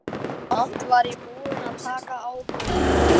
Samt var ég búin að taka ákvörðun.